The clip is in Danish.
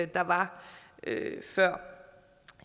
der var før